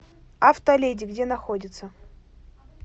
автоледи где находится